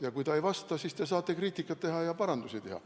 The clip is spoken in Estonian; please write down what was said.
Ja kui ta ei vasta, siis te saate kriitikat teha ja parandusi teha.